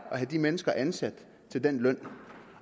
at have de mennesker ansat til den løn